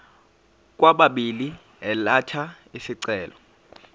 kwababili elatha isicelo